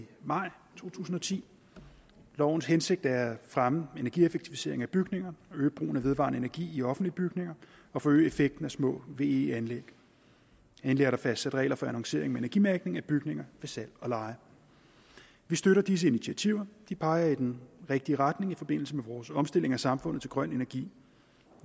maj to tusind og ti lovens hensigt er at fremme energieffektivisering af bygninger og øge brugen af vedvarende energi i offentlige bygninger og forøge effekten af små ve anlæg endelig er der fastsat regler for annoncering med energimærkning af bygninger ved salg og leje vi støtter disse initiativer de peger i den rigtige retning i forbindelse med vores omstilling i samfundet til grøn energi